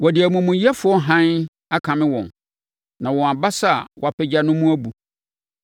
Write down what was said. Wɔde amumuyɛfoɔ hann akame wɔn, na wɔn abasa a wɔapagya no mu abu.